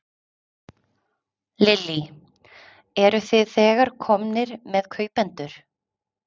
Lillý: Eruð þið þegar komnir með kaupendur?